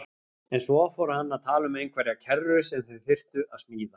En svo fór hann að tala um einhverja kerru sem þeir þyrftu að smíða.